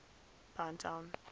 pinetown